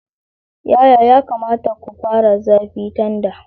Yaya ya kamata ku fara zafi tanda?